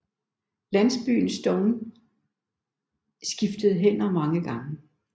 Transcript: Landsbyen Stonne skiftede hænder mange gange